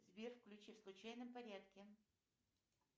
сбер включи в случайном порядке